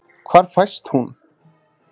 Hvar fæst hún?